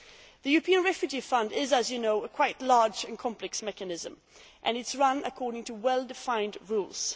The European Refugee Fund is, as you know, quite a large and complex mechanism and is run according to well defined rules.